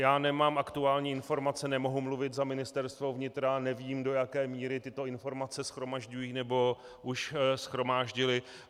Já nemám aktuální informace, nemohu mluvit za Ministerstvo vnitra, nevím, do jaké míry tyto informace shromažďují nebo už shromáždily.